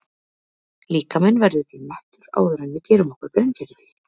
Líkaminn verður því mettur áður en við gerum okkur grein fyrir því.